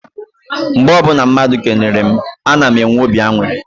Mgbe ọbụla mmadụ kelere mụ, a na m enwe obi aṅụrị.